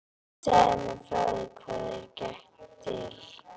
Segðu mér þá frá því hvað þér gekk til.